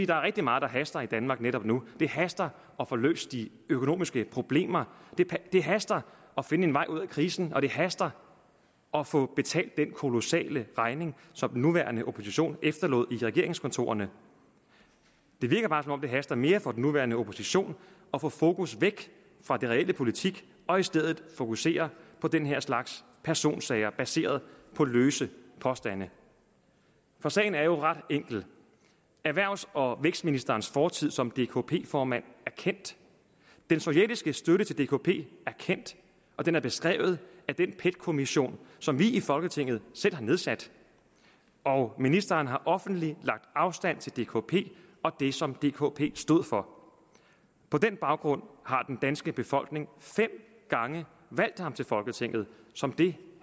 der er rigtig meget der haster i danmark netop nu det haster at få løst de økonomiske problemer det haster at finde en vej ud af krisen og det haster at få betalt den kolossale regning som den nuværende opposition efterlod i regeringskontorerne det virker bare som om det haster mere for den nuværende opposition at få fokus væk fra den reelle politik og i stedet fokusere på den her slags personsager baseret på løse påstande for sagen er jo ret enkel erhvervs og vækstministerens fortid som dkp formand er kendt den sovjetiske støtte til dkp er kendt og den er beskrevet af den pet kommission som vi i folketinget selv har nedsat og ministeren har offentligt lagt afstand til dkp og det som dkp stod for på den baggrund har den danske befolkning fem gange valgt ham til folketinget som det